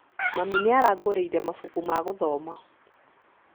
Mami nĩarangũrĩire mabuku ma gũthoma